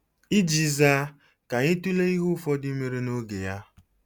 Iji zaa, ka anyị tụlee ihe ụfọdụ mere n'oge ya.